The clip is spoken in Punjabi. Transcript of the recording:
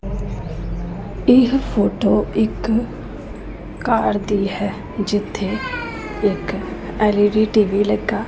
ਇਹ ਫੋਟੋ ਇੱਕ ਕਾਰ ਦੀ ਹੈ ਜਿੱਥੇ ਇੱਕ L E D T V ਲੱਗਾ।